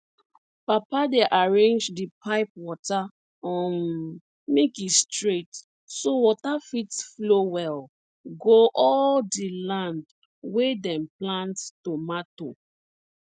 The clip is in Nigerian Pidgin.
papa dey arrange di pipe water um make e straight so water fit flow well go all di land wey dem plant tomato